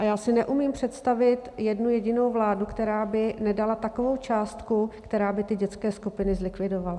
A já si neumím představit jednu jedinou vládu, která by nedala takovou částku, která by ty dětské skupiny zlikvidovala.